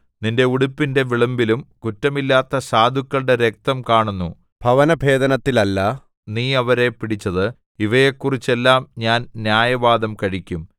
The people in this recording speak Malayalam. നിന്റെ ഉടുപ്പിന്റെ വിളുമ്പിലും കുറ്റമില്ലാത്ത സാധുക്കളുടെ രക്തം കാണുന്നു ഭവന ഭേദനത്തിലല്ല നീ അവരെ പിടിച്ചത് ഇവയെക്കുറിച്ചെല്ലാം ഞാൻ ന്യായവാദം കഴിക്കും